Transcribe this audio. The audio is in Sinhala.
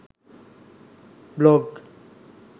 blog